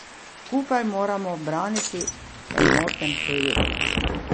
Skupaj moramo braniti enoten projekt.